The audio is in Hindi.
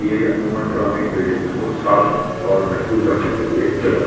ये पुरानी बिल्डिंगस को साफ और महफुज़ रखने के लिए जगह बनाई जाती है ।